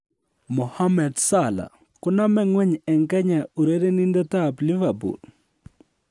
Mohammed Salah: Konome ng'weny en Kenya urerenindetab Liverpool